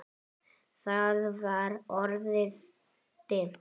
Það var orðið dimmt.